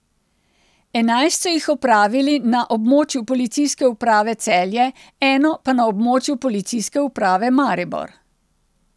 Enajst so jih opravili na območju Policijske uprave Celje, eno pa na območju Policijske uprave Maribor.